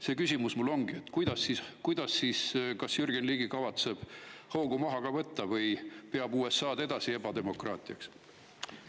Mu küsimus ongi see: kas Jürgen Ligi kavatseb hoogu maha võtta või peab ta USA-d edasi ebademokraatiaks?